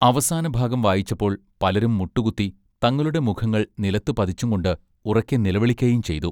അവസാനഭാഗം വായിച്ചപ്പോൾ പലരും മുട്ടുകുത്തി തങ്ങളുടെ മുഖങ്ങൾ നിലത്തു പതിച്ചും കൊണ്ട് ഉറക്കെ നിലവിളിക്കയും ചെയ്തു.